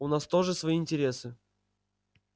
у нас тоже свои интересы